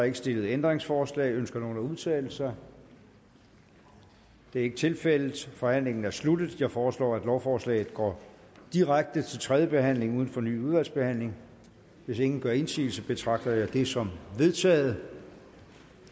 ikke stillet ændringsforslag ønsker nogen at udtale sig det er ikke tilfældet forhandlingen er sluttet jeg foreslår at lovforslaget går direkte til tredje behandling uden fornyet udvalgsbehandling hvis ingen gør indsigelse betragter jeg det som vedtaget